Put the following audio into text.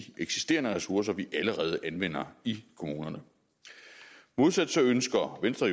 eksisterende ressourcer vi allerede anvender i kommunerne modsat ønsker venstre